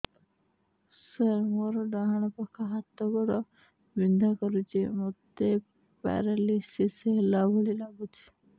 ସାର ମୋର ଡାହାଣ ପାଖ ହାତ ଗୋଡ଼ ବିନ୍ଧା କରୁଛି ମୋତେ ପେରାଲିଶିଶ ହେଲା ଭଳି ଲାଗୁଛି